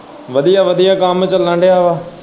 ਵਧੀਆ ਵਧੀਆ ਕੰਮ ਚੱਲਣ ਦਿਆ ਆ।